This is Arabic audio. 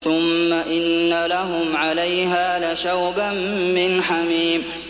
ثُمَّ إِنَّ لَهُمْ عَلَيْهَا لَشَوْبًا مِّنْ حَمِيمٍ